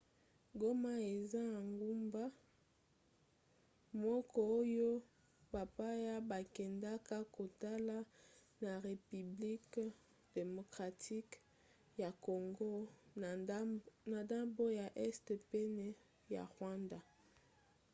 goma eza engumba moko oyo bapaya bakendaka kotala na repiblike demokratike ya congo na ndambo ya este pene ya rwanda